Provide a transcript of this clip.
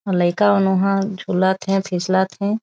अउ लईका मन उ हा झूलत थे फिसलत थे।